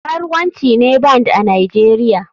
Karuwanci ne band a nigeria.